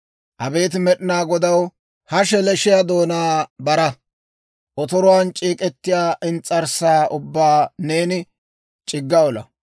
Abeet Med'inaa Godaw, ha sheleeshshiyaa doonaa bara. Otoruwaan c'eek'ettiyaa ins's'arssaa ubbaa neeni c'igga olaa.